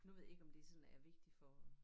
Nu ved jeg ikke om det sådan er vigtig for